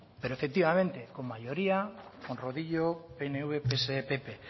pero efectivamente con mayoría con rodillo pnv pse y pp